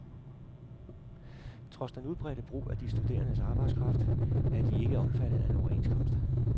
Trods den udbredte brug af de studerendes arbejdskraft er de ikke omfattet af en overenskomst.